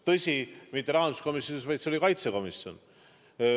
Tõsi, mitte rahanduskomisjonis, vaid see oli kaitsekomisjon.